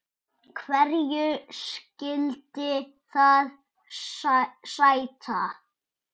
Hverju skyldi það sæta?